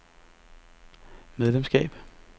medlemskab